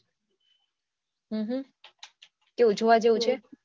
હમ કેવું જોવા જેવું છે